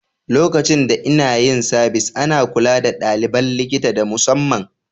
Lokacin da inna yin sabis, ana kulla da dalibain likita da musamman.